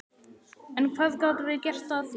En hvað gátum við gert að því?